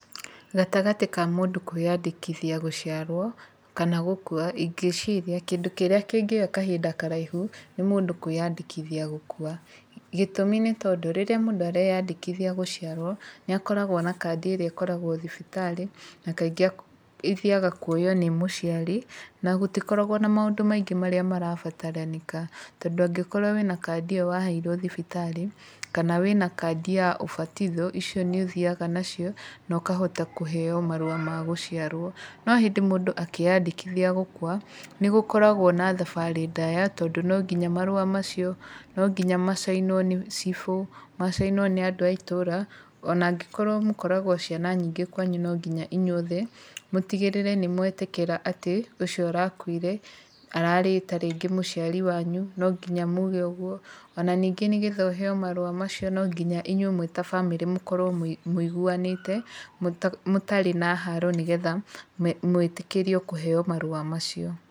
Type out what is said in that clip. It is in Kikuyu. Gatagatĩ ka mũndũ kwĩyandĩkithia gũciarwo, kana gũkua ingĩciria kĩndũ kĩrĩa kĩngĩoya kahinda karaihu, nĩ mũndũ kwĩyandĩkithia gũkua. Gĩtũmi nĩ tondũ rĩrĩa mũndũ areyandĩkithia gũciarwo nĩ akoragwo na kandĩ ĩrĩa ĩkoragwo thibitarĩ na kaingĩ ithiaga kuoywo nĩ mũciari, na gũtikoragwo na maũndũ maingĩ marĩa marabataranĩka. Tondũ angĩkorwo wĩna kandi ĩyo waheirwo thibitarĩ, kana wĩna kandi ya ũbatitho icio nĩ ũthiaga nacio na ũkahota kũheo marũa ma gũciarwo. No hĩndĩ mũndũ akĩyandĩkithia gũkua, nĩ gũkoragwo na thabarĩ ndaya tondũ no nginya marũa macio, no nginya macainwo nĩ cibũ, macainwo nĩ andũ a itũũra ona angĩkorwo mũkoragwo ciana nyingĩ kwanyu no nginya inyuothe mũtigĩrĩre nĩ mwetĩkĩra atĩ ũcio ũrakuire ararĩ ta rĩngĩ mũciari wanyu, no nginya muge ũguo, ona ningĩ nĩ getha ũheo marũa macio no nginya inyuĩ mwĩ ta bamĩrĩ mũkorwo mũiguanĩte, mũtarĩ na haro nĩ getha mwĩtĩkĩrio kũheo marũa macio.